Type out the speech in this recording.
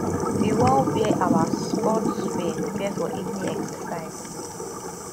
we wan wear our sports wear prepare for evening exercise